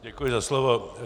Děkuji za slovo.